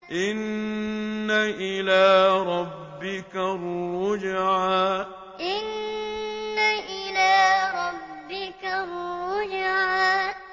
إِنَّ إِلَىٰ رَبِّكَ الرُّجْعَىٰ إِنَّ إِلَىٰ رَبِّكَ الرُّجْعَىٰ